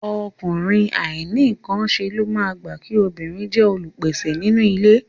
Ọkùnrin àìnínǹkanṣe ló máa gbà kí obìnrin jẹ́ olùpèsè nínú ilé